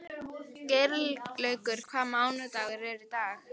Geirlaugur, hvaða mánaðardagur er í dag?